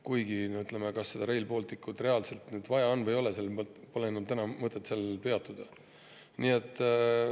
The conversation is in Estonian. Kuigi, ütleme, kas Rail Balticut reaalselt vaja on või ei ole – noh, sel pole täna enam mõtet peatuda.